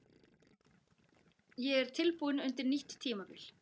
Ég er tilbúinn undir nýtt tímabil.